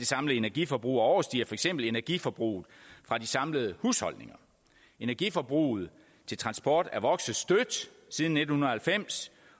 samlede energiforbrug og overstiger for eksempel energiforbruget fra de samlede husholdninger energiforbruget til transport er vokset stærkt siden nitten halvfems